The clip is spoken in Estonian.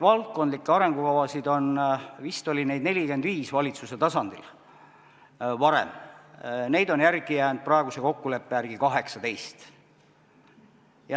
Valdkondlikke arengukavasid oli varem vist 45 valitsuse tasandil, neid on järele jäänud praeguse kokkuleppe järgi 18.